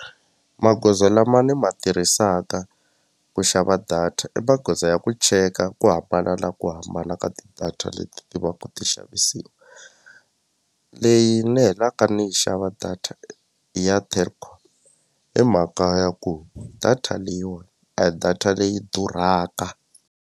Magoza lama ni ma tirhisaka ku xava data i magoza ya ku cheka ku hambana na ku hambana ka ti-data leti va ku ti xavisiwa leyi ni helaka ni yi xava data ya Telkom hi mhaka ya ku data leyiwani a hi data leyi durhaka.